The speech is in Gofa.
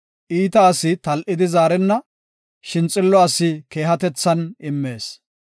Iita asi tal7idi zaarenna; shin xillo asi keehatethan immees.